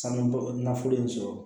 Sanubɔ nafolo in sɔrɔ